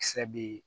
Kisɛ be yen